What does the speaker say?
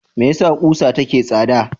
Me yasa kusa take tsada?